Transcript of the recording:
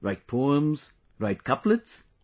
Write poems, write couplets